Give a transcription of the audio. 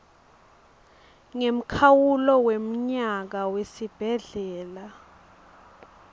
ngemkhawulo wemnyaka wesibhedlela